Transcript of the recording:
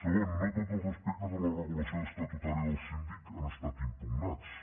segon no tots els aspectes de la regulació estatutària del síndic han estat impugnats